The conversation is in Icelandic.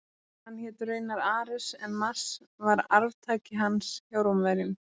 Hann hét raunar Ares en Mars var arftaki hans hjá Rómverjum.